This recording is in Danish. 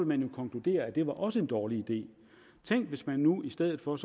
man jo konkludere at det også var en dårlig idé tænk hvis man nu i stedet for